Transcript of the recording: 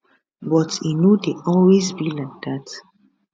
but e no dey always be like dat